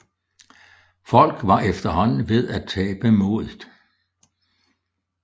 Folk var efterhånden ved at tabe modet